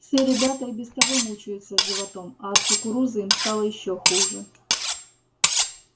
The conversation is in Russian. все ребята и без того мучаются животом а от кукурузы им стало ещё хуже